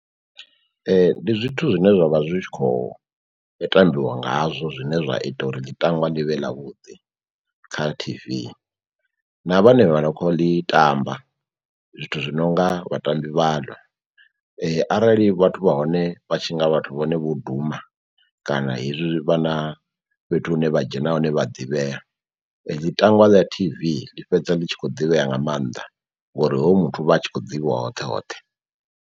Ndi zwithu zwine zwavha zwi tshi kho tambiwa ngazwo zwine zwa ita uri ḽitangwa ḽi vhe ḽavhuḓi kha T_V na vhanevha no kho ḽi tamba, zwithu zwi nonga vhatambi vhano. Arali vhathu vha hone vha tshi nga vhathu vhone vho duma kana hezwi vhana fhethu hune vha dzhena hone vha ḓivhea ḽitangwa ḽa T_V ḽi fhedza ḽi tshi khou ḓivhea nga maanḓa ngori hoyo muthu vha tshi khou ḓivhiwa hoṱhe hoṱhe.